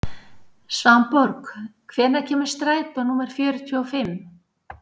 Svanborg, hvenær kemur strætó númer fjörutíu og fimm?